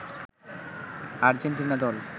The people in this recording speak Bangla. আর্জেন্টিনা দল